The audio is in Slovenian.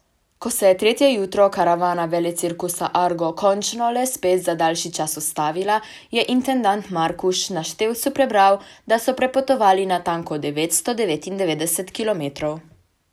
Ko se je tretje jutro karavana velecirkusa Argo končno le spet za daljši čas ustavila, je intendant Markuš na števcu prebral, da so prepotovali natanko devetsto devetindevetdeset kilometrov.